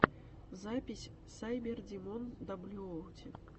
запись сайбердимон даблюоути